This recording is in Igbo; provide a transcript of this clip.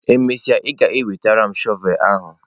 E mesịa, ị ga-enwetara m shọvel ahụ!